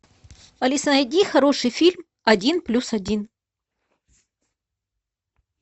алиса найди хороший фильм один плюс один